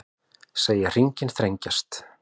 Segja hringinn þrengjast